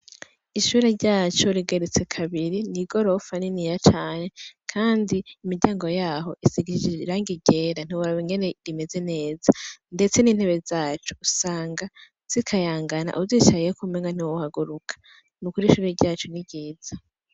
Ishure ryacu rigeretse kabiri ni i gorofa nini ya cane, kandi imiryango yaho isigisi riranga igera ntiwaba ingene rimeze neza, ndetse n'intebe zacu usanga zikayangana uzicayiyo kumenwa ntiwohaguruka ni ukuri ishuri ryacu ni ryiza.